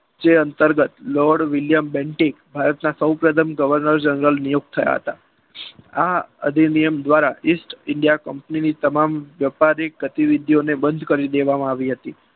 જે અંતર્ગત lord William Bentinck ભારતના સૌપ્રથમ governor general નિયુક્ત થયા હતા. આ અધિનિયમ દ્વારા East India east india company ની તમામ વેપારી ગતિવિધિઓને બંધ કરી દેવામાં આવી હતી.